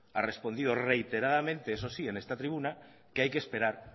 ha respondido reiteradamente eso sí en esta tribuna que hay que esperar